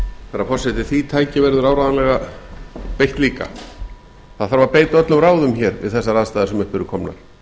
herra forseti því tæki verður áreiðanlega beitt líka það þarf að beita öllum ráðum hér við þessar aðstæður sem upp eru komnar